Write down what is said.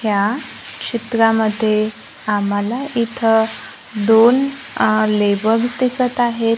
या चित्रामध्ये आम्हाला इथं दोन अ लेबर्स दिसत आहेत.